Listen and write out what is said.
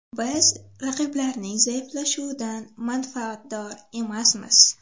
Biz raqiblarning zaiflashuvidan manfaatdor emasmiz.